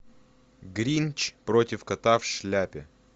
гринч против кота в шляпе